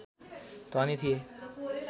धनी थिए